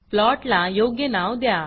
प्लॉटला योग्य नाव द्या